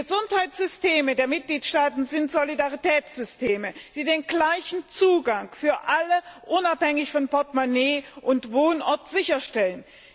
Die Gesundheitssysteme der Mitgliedstaaten sind Solidaritätssysteme, die den gleichen Zugang für alle, unabhängig von Portemonnaie und Wohnort, sicherstellen.